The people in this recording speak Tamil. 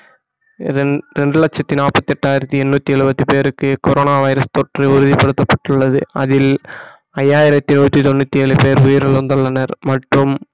இதன் இரண்டு லட்சத்தி நாற்பத்தி எட்டாயிரத்தி எண்ணூத்தி எழுபத்தி பேருக்கு கொரோனா வைரஸ் தொற்று உறுதிப்படுத்தப்பட்டுள்ளது அதில் ஐயாயிரத்தி நூத்தி தொண்ணூத்தி ஏழு பேர் உயிரிழந்துள்ளனர் மற்றும்